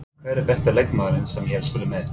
Hver er besti leikmaðurinn sem ég hef spilað með?